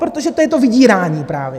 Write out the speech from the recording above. Protože to je to vydírání právě.